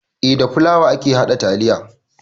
Eh da fulawa ake haɗa taliya